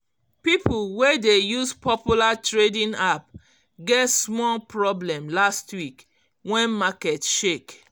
people wey dey use popular trading app get small problem last week when market shake